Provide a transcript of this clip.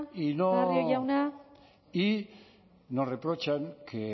barrio jauna y nos reprochan que